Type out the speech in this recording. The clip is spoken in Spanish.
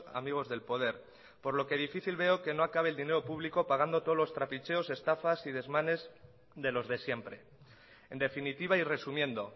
amigos del poder por lo que difícil veo que no acabe el dinero público pagando todos los trapicheos estafas y desmanes de los de siempre en definitiva y resumiendo